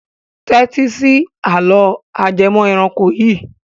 Tẹ́tí sí àlọ́ ajẹmọ́ ẹranko yìí.